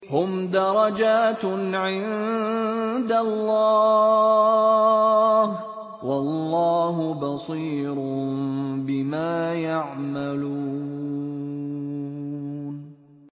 هُمْ دَرَجَاتٌ عِندَ اللَّهِ ۗ وَاللَّهُ بَصِيرٌ بِمَا يَعْمَلُونَ